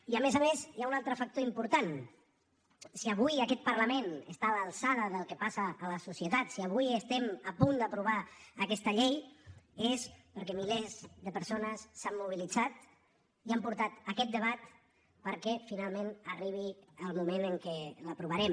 i a més a més hi ha un altre factor important si avui aquest parlament està a l’alçada del que passa a la societat si avui estem a punt d’aprovar aquesta llei és perquè milers de persones s’han mobilitzat i han portat aquest debat perquè finalment arribi el moment en què l’aprovarem